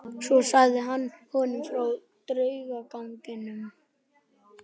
Svo sagði hann honum frá draugaganginum.